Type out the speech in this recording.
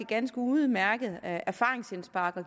ganske udmærket erfaringsindspark